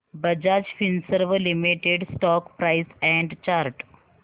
Bajaj Finserv limited stock price and chart